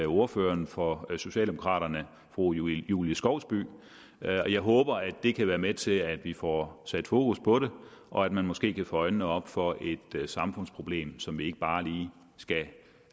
ordføreren for socialdemokraterne fru julie julie skovsby og jeg håber det kan være med til at vi får sat fokus på det og at man måske kan få øjnene op for et samfundsproblem som vi ikke bare lige skal